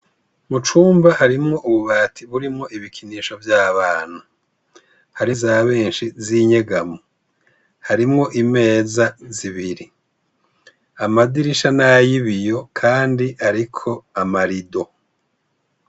Mucumba harimwo ububati burimwo ibikinisho vy' abana hari izabenshi z' inyegamo harimwo imeza zibiri amadirisha ni ay' ibiyo kandi ariko amarido.